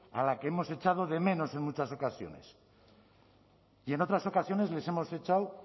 a la que hemos echado de menos en muchas ocasiones y en otras ocasiones les hemos echado